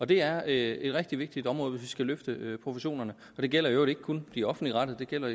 det er et rigtig vigtigt område hvis vi skal løfte professionerne det gælder i øvrigt ikke kun de offentligt rettede det gælder